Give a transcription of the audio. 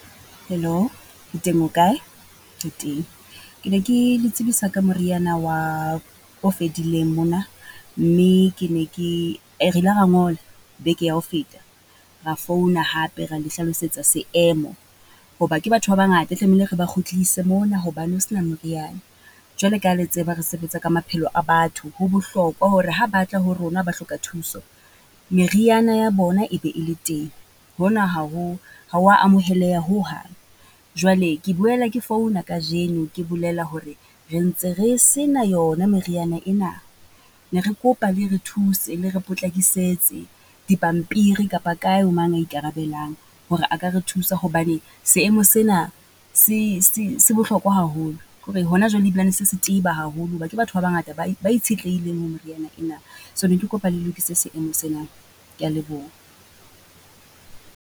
Hello, ke teng o kae? Ke teng, ke ne ke le tsebisa ka moriana wa, o fedileng mona mme ke ne ke , re ile ra ngola beke ya ho feta, ra founa hape ra le hlalosetsa seemo. Hoba ke batho ba bangata e tlamehile re ba kgutlise mona hobane ho se na moriana. Jwale ka ha le tseba re sebetsa ka maphelo a batho, ho bohlokwa hore ha ba tla ho rona ba hloka thuso, meriana ya bona e be e le teng. Hona ha, ha o wa amoheleha hohang. Jwale ke boela ke founa kajeno ke bolela hore re ntse re se na yona meriana ena, ne re kopa le re thuse, le re potlakisetse, di pampiri kapa kae ho mang ya ikarabelang hore a ka re thusa. Hobane seemo se na se se se bohlokwa haholo. Kore ho na jwale ebilane se se teba haholo ho ba ke batho ba bangata ba ba itshetlehileng ho moriana ena. So ne ke kopa le lokise seemo sena, ke ya leboha.